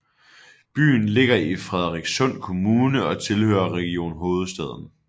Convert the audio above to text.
Byen ligger i Frederikssund Kommune og tilhører Region Hovedstaden